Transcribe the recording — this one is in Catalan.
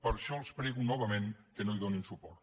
per això els prego novament que no hi donin suport